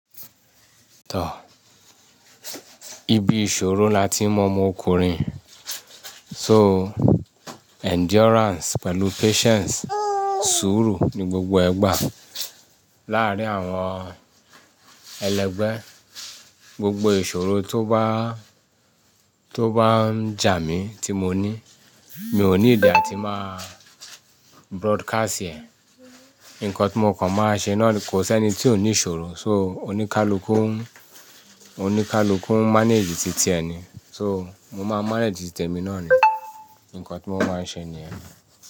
Tọ́, ibi ìṣòro la ti mo mú ọkùnrin. So endurance pẹ̀lú patience, sùúrù ni gbogbo ẹ gbàá. Lárí àwọn ẹlẹgbẹ́, gbogbo ìṣòro tó bá, tó bá ń jà mí tí mo ní, mi ò ní nìdí a tí máa broadcast ẹ̀. Nǹkan tí mo kàn máa ṣe náà ni, kò sí ẹni tí ò ní ìṣòro. So, oníkálukú, oníkálukú manage titi ẹ ni. So, mo máa manage ti tèmi náà ni. Nǹkan tí mo máa ṣe ni yẹn.